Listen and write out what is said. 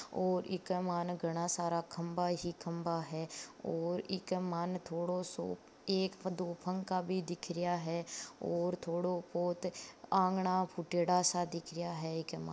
और इक मायने गणा सारा खम्बा ही खम्बा है और इक मायने थोड़ो सो एक दो पंखा भी दिख रहिया है और थोड़ो पोत आंगणा फूट्योड़ो सा दिख रहिया है इक मायने।